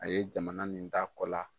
A ye jamana nin d'a kɔ la.